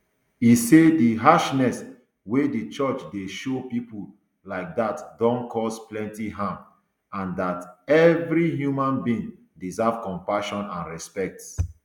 e say di harshness wey di church dey show pipo like dat don cause plenty harm and and dat evri human being deserve compassion and respect